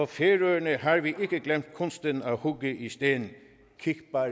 færøerne har vi ikke glemt kunsten at hugge i sten kig bare